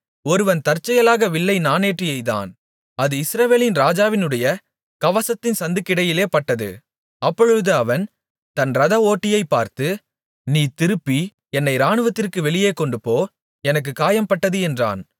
ஒருவன் தற்செயலாக வில்லை நாணேற்றி எய்தான் அது இஸ்ரவேலின் ராஜாவினுடைய கவசத்தின் சந்துக்கிடையிலேபட்டது அப்பொழுது அவன் தன் இரத ஓட்டியைப் பார்த்து நீ திருப்பி என்னை இராணுவத்திற்கு வெளியே கொண்டுபோ எனக்குக் காயம்பட்டது என்றான்